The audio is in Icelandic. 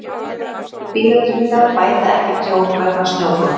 Bílatryggingar bæta ekki tjón vegna snjóflóðs